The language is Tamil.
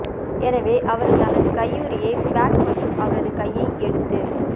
எனவே அவர் தனது கையுறை பேக் மற்றும் அவரது கையை எடுத்து